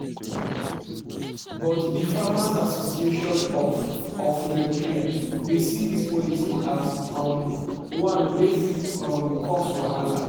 but di farmers association of of nigeria dey see dis policy as um one wey fit um cause wahala.